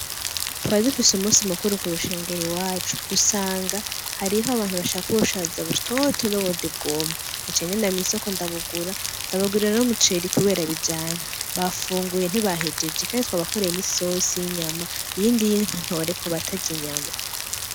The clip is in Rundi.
Twari dufise umunsi mukuru ku rushengero iwacu, dusanga harih'abantu bashaka ubushaza butoto n' ubundi bwumye naciye ngenda mw'isoko ndabugura ndabagurira n'umuceri kubera bijanye, bafunguye ntibahejeje kandi twabakoreye n'isosi y'inyama, iyindi y'intore ku batary'inyama.